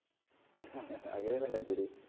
അങ്ങനെയല്ലേ കളിക്കല്